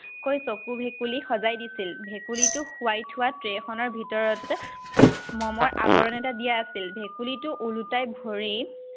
কৈ চকু ভেকুলী সজাই দিছিল। ভেকুলীটো শুৱাই থোৱাত tray খনৰ ভিতৰতে মমৰ আৱৰণ এটা দিয়া আছিল। ভেকুলীটো ওলোতাই ধৰি